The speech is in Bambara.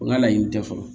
U ka laɲini tɛ fɔlɔ